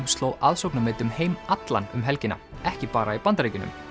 sló aðsóknarmet um heim allan um helgina ekki bara í Bandaríkjunum